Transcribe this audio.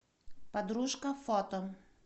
подружка фото